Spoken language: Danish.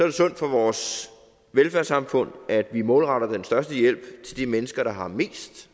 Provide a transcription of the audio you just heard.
det sundt for vores velfærdssamfund at vi målretter den største hjælp til de mennesker der har mest